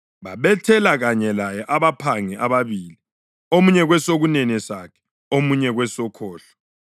Babethela kanye laye abaphangi ababili, omunye kwesokunene sakhe, omunye kwesokhohlo. [